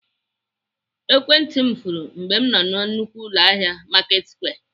Ekwentị m furu mgbe m nọ na nnukwu ụlọahịa Marketsquare.